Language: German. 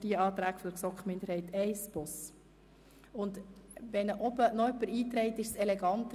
Ich ziehe den Rückweisungsantrag zu Artikel 31b und auch den Rückweisungsantrag zu Artikel 31c zurück.